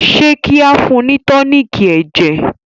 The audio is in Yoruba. ṣe kí ao fún ni toniiki ẹjẹ?